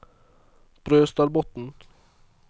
Brøstadbotn